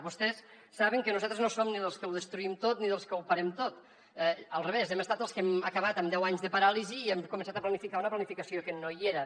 vostès saben que nosaltres no som ni dels que ho destruïm tot ni dels que ho parem tot al revés hem estat els que hem acabat amb deu anys de paràlisi i hem començat a planificar una planificació que no hi era